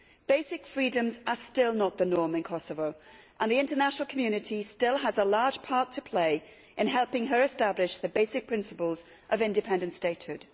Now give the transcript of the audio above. Basic freedoms are still not the norm in Kosovo and the international community still has a large part to play in helping it establish the basic principles of independent statehood.